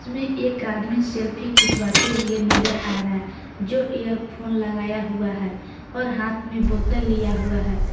में एक आदमी सेल्फी खिंचवाते हुए नजर आ रहा है जो इअर फोन लगाया हुआ है और हाथ में बोतल लिया हुआ है।